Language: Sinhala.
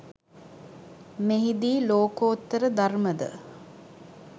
මෙහි දී ලෝකෝත්තර ධර්ම ද